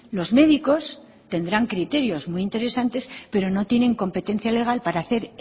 los médicos tendrán criterios muy interesantes pero no tienen competencia legal para hacer